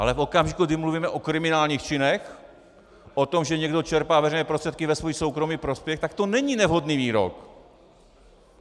Ale v okamžiku, kdy mluvíme o kriminálních činech, o tom, že někdo čerpá veřejné prostředky ve svůj soukromý prospěch, tak to není nevhodný výrok!